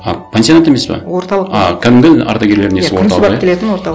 а пансионат емес пе орталық а кәдімгідей ардагерлердің несі күндіз барып келетін орталық